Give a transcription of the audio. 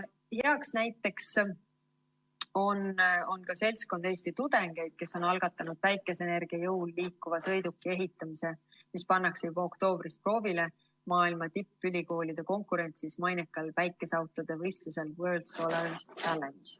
Hea näide on ka seltskond Eesti tudengeid, kes on algatanud päikeseenergia jõul liikuva sõiduki ehitamise, mis pannakse juba oktoobris proovile maailma tippülikoolide konkurentsis mainekal päikeseautode võistlusel World Solar Challenge.